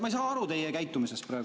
Ma ei saa aru teie käitumisest praegu.